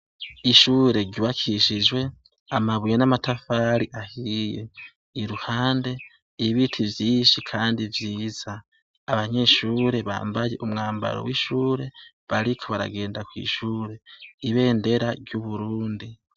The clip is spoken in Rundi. Ishure ryubakishijwe amabuye namatafari ahiye iruhande ibiti vyinshi kandi vyiza abanyeshure bambaye umwambaro wishure bariko baragenda kwishure ibendera ryuburundi